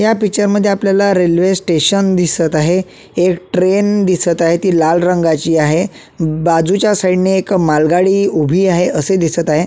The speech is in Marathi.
या पिक्चर मध्ये आपल्याला रेल्वे स्टेशन दिसत आहे एक ट्रेन दिसत आहे ती लाल रंगाची आहे बाजूच्या साईड ने एक मालगाडी उभी आहे असे दिसत आहे.